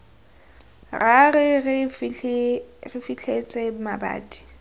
ra re re fitlhetse mabati